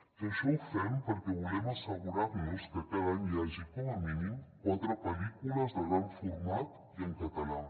i això ho fem perquè volem assegurar nos que cada any hi hagi com a mínim quatre pel·lícules de gran format i en català